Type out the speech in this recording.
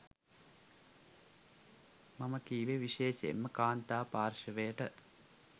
මම කිව්වේ විශේෂයෙන්ම කාන්තා පාර්ශවයට.